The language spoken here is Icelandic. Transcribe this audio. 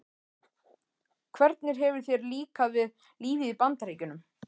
Hvernig hefur þér líkað við lífið í Bandaríkjunum?